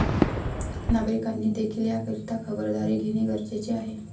नागरिकांनी देखिल याकरिता खबरदारी घेणे गरजेचे आहे.